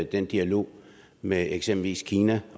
den dialog med eksempelvis kina